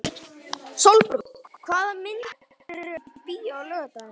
Sólbrún, hvaða myndir eru í bíó á laugardaginn?